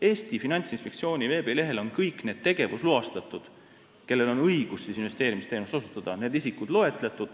Eesti Finantsinspektsiooni veebilehel on kõik need tegevusloastatud isikud, kellel on õigus investeerimisteenust osutada, loetletud.